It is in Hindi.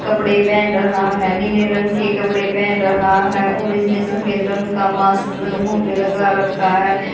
कपड़े पहन रहा है नीले रंग के कपड़े पहन रहा है और इसने सफेद रंग का मास्क मुंह पे लगा रखा है।